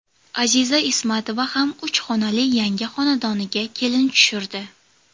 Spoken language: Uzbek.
Aziza Ismatova ham uch xonali yangi xonadoniga kelin tushirdi.